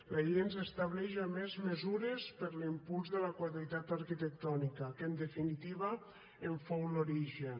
la llei ens estableix a més mesures per a l’impuls de la qualitat arquitectònica que en definitiva en fou l’origen